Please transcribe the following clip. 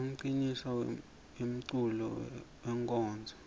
umncintiswam wemeculo wenkonzo